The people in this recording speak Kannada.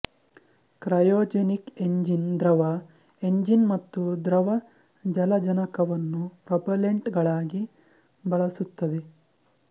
ಕ್ರೈಯೊಜೆನಿಕ್ ಎಂಜಿನ್ ದ್ರವ ಎಂಜಿನ್ ಮತ್ತು ದ್ರವ ಜಲಜನಕವನ್ನು ಪ್ರೊಪೆಲ್ಲೆಂಟ್ಗಳಾಗಿ ಬಳಸುತ್ತದೆ